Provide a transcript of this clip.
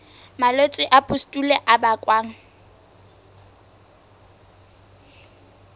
malwetse a pustule a bakwang